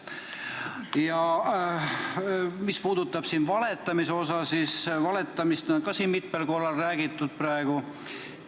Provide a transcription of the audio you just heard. Aga mis puudutab valetamist, siis valetamist on ka siin mitmel korral praegu olnud.